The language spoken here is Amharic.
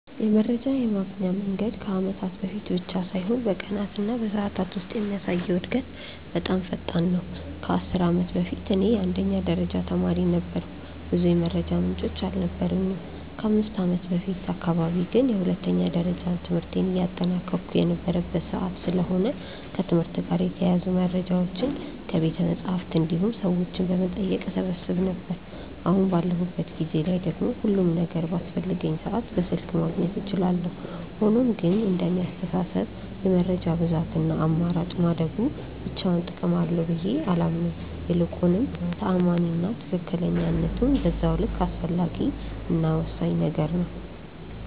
የመረጃ የማግኛ መንገድ ከአመታት በፊት ብቻ ሳይሆን በቀናት እና በሰዓታት ውስጥ የሚያሳየው እድገት በጣም ፈጣን ነው። ከ10 አመት በፊት እኔ የአንደኛ ደረጃ ተማሪ ነበርኩ ብዙ የመረጃ ምንጮች አልነበሩኝም። ከ5ከአመት በፊት አካባቢ ግን የሁለተኛ ደረጃ ትምህርቴን እያጠናቀቅሁ የነበረበት ሰዓት ስለሆነ ከትምህርት ጋር የተያያዙ መረጃዎችን ከቤተመፅሀፍት እንዲሁም ሰዎችን በመጠየቅ እሰበስብ ነበር። አሁን ባለሁበት ጊዜ ላይ ደግሞ ሁሉም ነገር በአስፈለገኝ ሰዓት በስልክ ማግኘት እችላለሁ። ሆኖም ግን እንደኔ አስተሳሰብ የመረጃ ብዛት እና አማራጭ ማደጉ ብቻውን ጥቅም አለው ብዬ አላምንም። ይልቁንም ተአማኒ እና ትክክለኝነቱም በዛው ልክ አስፈላጊ እና ወሳኝ ነገር ነው።